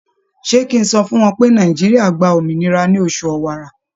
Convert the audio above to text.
Ṣé kí n sọ fún wọn pé Nàìjíríà gba òmìnira ní oṣù Ọ̀wàrà?